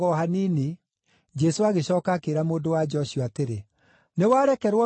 Jesũ agĩcooka akĩĩra mũndũ-wa-nja ũcio atĩrĩ, “Nĩwarekerwo mehia maku.”